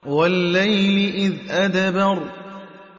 وَاللَّيْلِ إِذْ أَدْبَرَ